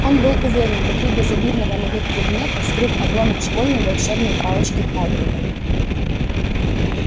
он был уверен внутри безобидного на вид предмета скрыт обломок школьной волшебной палочки хагрида